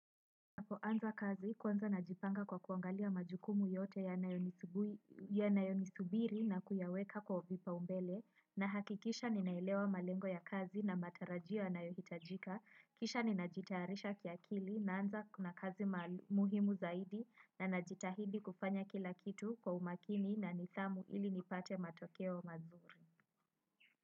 Napoanza kazi kwanza najipanga kwa kuangalia majukumu yote yanayo nisubiri na kuyaweka kwa vipaumbele nahakikisha ninaelewa malengo ya kazi na matarajia yanayohitajika kisha ninajitarisha kia kili na anza kuna kazi muhimu zaidi na najitahidi kufanya kila kitu kwa umakini na nithamu ili nipate matokeo mazuri.